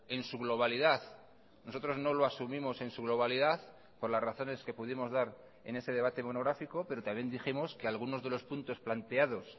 en su globalidad nosotros no lo asumimos en su globalidad por las razones que pudimos dar en ese debate monográfico pero también dijimos que algunos de los puntos planteados